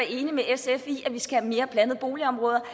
enig med sf i at vi skal have mere blandede boligområder